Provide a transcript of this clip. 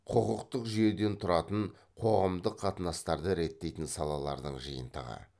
құқықтық жүйеден тұратын қоғамдық қатынастарды реттейтін салалардың жиынтығы